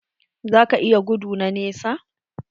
Za ka iya gudu na nesa?